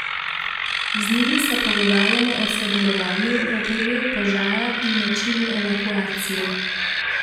Z njimi se pogovarjamo o sodelovanju v primeru požara in načinu evakuacije.